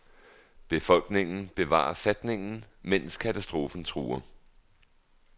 Befolkningen bevarer fatningen mens katastrofen truer.